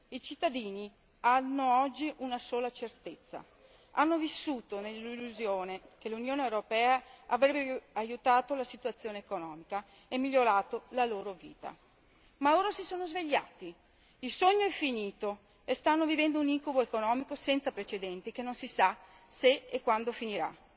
I cittadini hanno oggi una sola certezza hanno vissuto nell'illusione che l'Unione europea avrebbe aiutato la situazione economica e migliorato la loro vita, ma ora si sono svegliati, il sogno è finito e stanno vivendo un incubo economico senza precedenti che non si sa se e quando finirà.